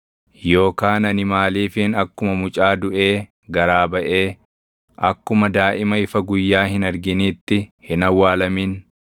Yookaan ani maaliifin akkuma mucaa duʼee garaa baʼee, akkuma daaʼima ifa guyyaa hin arginiitti hin awwaalamin?